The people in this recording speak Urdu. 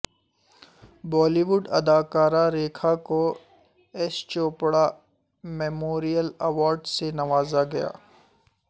بالی ووڈ اداکارہ ریکھا کو یش چوپڑا میموریل ایوارڈ سے نوازا گیا